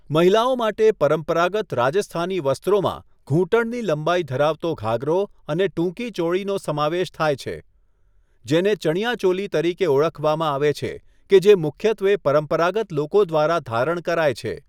મહિલાઓ માટે પરંપરાગત રાજસ્થાની વસ્ત્રોમાં ઘૂંટણની લંબાઈ ધરાવતો ઘાઘરો અને ટૂંકી ચોળીનો સમાવેશ થાય છે, જેને ચણીયા ચોલી તરીકે ઓળખવામાં આવે છે કે જે મુખ્યત્વે પરંપરાગત લોકો દ્વારા ધારણ કરાય છે.